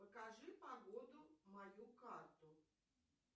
покажи погоду мою карту